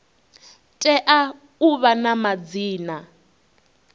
tea u vha na madzina